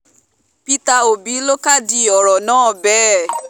peter òbí ló kádìí ọ̀rọ̀ rẹ̀ bẹ́ẹ̀